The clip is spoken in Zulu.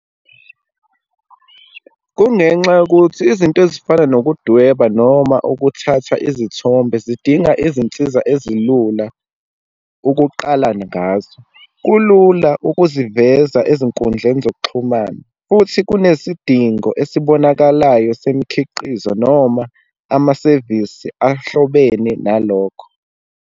Kungenxa yokuthi izinto ezifana nokudweba, noma ukuthatha izithombe zidinga izinsiza ezilula ukuqalane ngazo. Kulula ukuziveza ezinkundleni zokuxhumana, futhi kunesidingo esibonakalayo semikhiqizo noma amasevisi ahlobene nalokho.